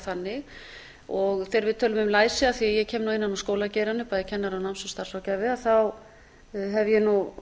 þannig þegar við tölum um læsi af því ég kem nú innan úr skólageiranum bæði kennari og náms og starfsráðgjafi hef ég nú